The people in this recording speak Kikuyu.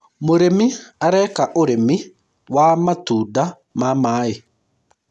mũrĩmi areka ũrĩmi wa matunda ma maĩ